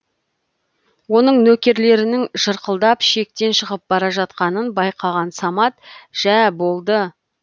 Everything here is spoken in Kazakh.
оның нөкерлерінің жырқылдап шектен шығып бара жатқанын байқаған самат жә болды